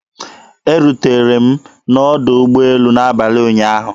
Erutere m na ọdọ ụgbọelu n'abalị ụnyaahụ.